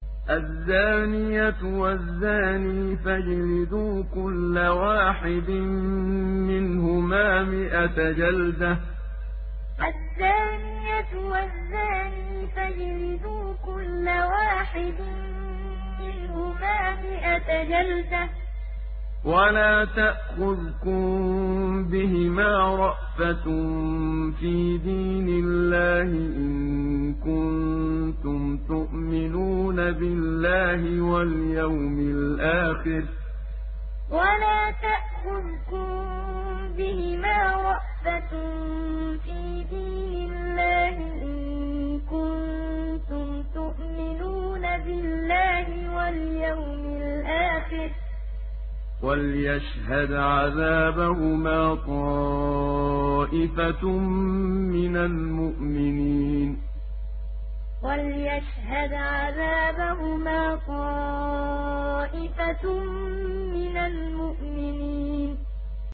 الزَّانِيَةُ وَالزَّانِي فَاجْلِدُوا كُلَّ وَاحِدٍ مِّنْهُمَا مِائَةَ جَلْدَةٍ ۖ وَلَا تَأْخُذْكُم بِهِمَا رَأْفَةٌ فِي دِينِ اللَّهِ إِن كُنتُمْ تُؤْمِنُونَ بِاللَّهِ وَالْيَوْمِ الْآخِرِ ۖ وَلْيَشْهَدْ عَذَابَهُمَا طَائِفَةٌ مِّنَ الْمُؤْمِنِينَ الزَّانِيَةُ وَالزَّانِي فَاجْلِدُوا كُلَّ وَاحِدٍ مِّنْهُمَا مِائَةَ جَلْدَةٍ ۖ وَلَا تَأْخُذْكُم بِهِمَا رَأْفَةٌ فِي دِينِ اللَّهِ إِن كُنتُمْ تُؤْمِنُونَ بِاللَّهِ وَالْيَوْمِ الْآخِرِ ۖ وَلْيَشْهَدْ عَذَابَهُمَا طَائِفَةٌ مِّنَ الْمُؤْمِنِينَ